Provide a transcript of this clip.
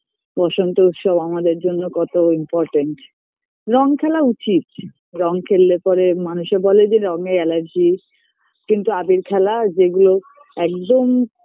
বসন্ত উৎসব আমাদের জন্য কত important রঙ খেলা উচিত রঙ খেললে পরে মানুষে বলে যে রঙে allergy কিন্তু আবীর খেলা যেগুলো একদম